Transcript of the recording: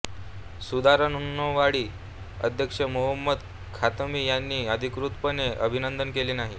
सुधारणावादी अध्यक्ष Mohammad Khatami यांनी अधिकृतपणे अभिनंदन केले नाही